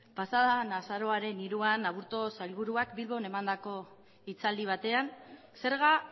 pasadan azaroaren hiruan aburto sailburuak bilbon emandako hitzaldi batean zerga